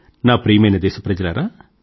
నా ప్రియమైన దేశప్రజలారా